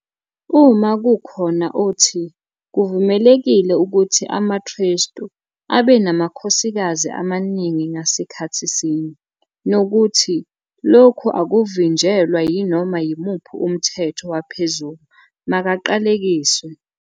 "Uma kukhona othi, kuvumelekile ukuthi amaKrestu abe namakhosikazi amaningi ngasikhathi sinye, nokuthi lokhu akuvinjelwa yinoma yimuphi umthetho waphezulu, makaqalekiswe.